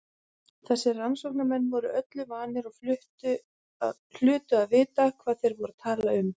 Þessir rannsóknarmenn voru öllu vanir og hlutu að vita hvað þeir voru að tala um.